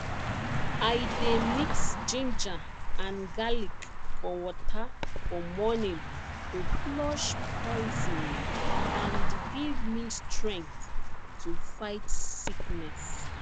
i dey mix ginger and garlic for water for morning to flush poison and give me strength to fight sickness